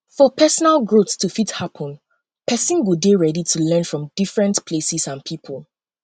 for personal growth to fit happen person go dey ready to learn from different places and pipo